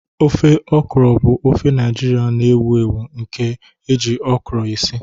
Ofe okra bụ ofe Naijiria na-ewu ewu nke eji okra esi.